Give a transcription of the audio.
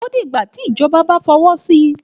Òdígbá tí ìjọbá bà fọwọ sí.